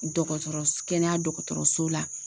Dɔgɔtɔrɔ kɛnɛya dɔgɔtɔrɔso la.